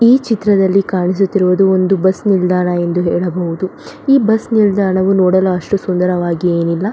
ಈ ಚಿತ್ರದಲ್ಲಿ ಕಾಣಿಸುತ್ತಿರುವುದು ಒಂದು ಬಸ್ಸ ನಿಲ್ದಾಣ ಎಂದು ಹೇಳಬಹುದು ಈ ಬಸ್ಸ ನಿಲ್ದಾಣ ನೋಡಲು ಅಷ್ಟು ಸುಂದರವಾಗಿ ಏನಿಲ್ಲ.